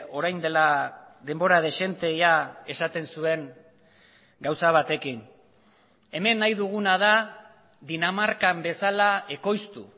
orain dela denbora dezente ia esaten zuen gauza batekin hemen nahi duguna da dinamarkan bezala ekoiztu